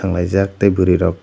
tonglai jak tei bwri rok.